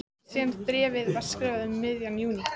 Síðasta bréfið var skrifað um miðjan júní.